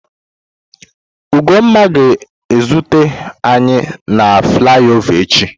Ugonma ga-ezute anyi na flaiova echi.